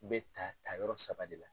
bɛ ta tayɔrɔ saba de la.